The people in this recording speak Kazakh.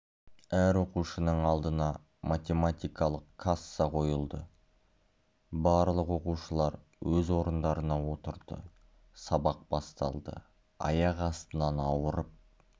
әр оқушының алдына математикалық касса қойылды барлық оқушылар өз орындарына отырды сабақ басталды аяқ астынан ауырып